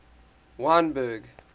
wynberg